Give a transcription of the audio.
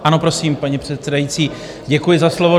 Ano, prosím, paní předsedající, děkuji za slovo.